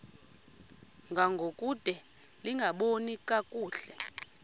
ngangokude lingaboni kakuhle